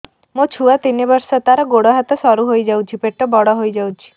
ମୋ ଛୁଆ ତିନି ବର୍ଷ ତାର ଗୋଡ ହାତ ସରୁ ହୋଇଯାଉଛି ପେଟ ବଡ ହୋଇ ଯାଉଛି